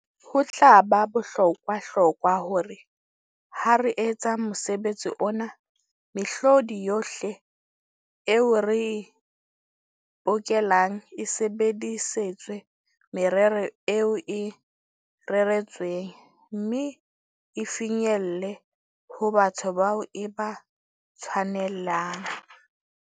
Ho tla ba bohlokwahlokwa, hore ha re etsa mosebetsi ona, mehlodi yohle eo re e bokellang e sebedisetswe merero eo e reretsweng, mme e finyelle ho batho bao e ba tshwanelang.